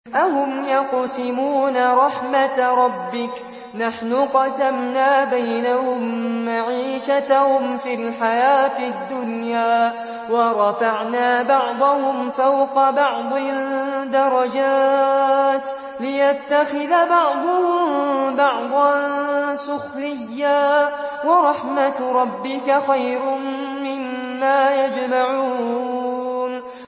أَهُمْ يَقْسِمُونَ رَحْمَتَ رَبِّكَ ۚ نَحْنُ قَسَمْنَا بَيْنَهُم مَّعِيشَتَهُمْ فِي الْحَيَاةِ الدُّنْيَا ۚ وَرَفَعْنَا بَعْضَهُمْ فَوْقَ بَعْضٍ دَرَجَاتٍ لِّيَتَّخِذَ بَعْضُهُم بَعْضًا سُخْرِيًّا ۗ وَرَحْمَتُ رَبِّكَ خَيْرٌ مِّمَّا يَجْمَعُونَ